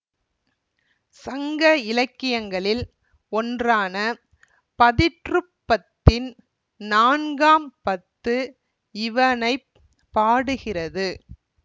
சங்க இலக்கியங்களில் ஒன்றான பதிற்றுப்பத்தின் நான்காம் பத்து இவனை பாடுகிறது